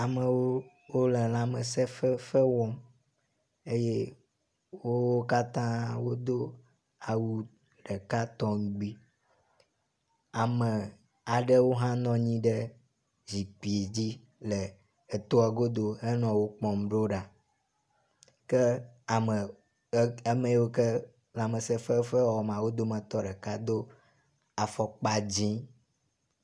Amewo wo le lãmesefefe wɔm eye wo katã wodo awu ɖeka tɔŋgbi. Ame aɖewo hã nɔ anyi ɖe zikpui dzi le etoa godo henɔ wo kpɔm ɖoɖa ke ame ame yawo ke lãmsefefea wɔma wo dometɔ ɖeka do afɔkpa dzi.